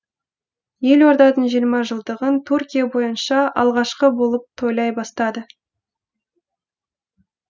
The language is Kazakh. елорданың жиырма жылдығын түркия бойынша алғашқы болып тойлай бастады